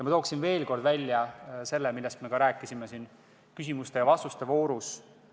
Ma tooksin veel kord välja ühe teema, millest me juba rääkisime küsimuste ja vastuste voorus.